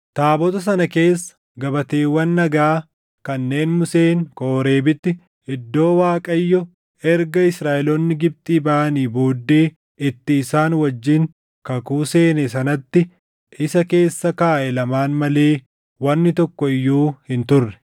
Taabota sana keessa gabateewwan dhagaa kanneen Museen Kooreebitti iddoo Waaqayyo erga Israaʼeloonni Gibxii baʼanii booddee itti isaan wajjin kakuu seene sanatti isa keessa kaaʼe lamaan malee wanni tokko iyyuu hin turre.